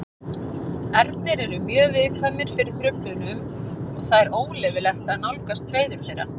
Ernir eru mjög viðkvæmir fyrir truflunum og það er óleyfilegt að nálgast hreiður þeirra.